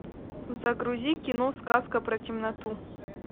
загрузи кино сказка про темноту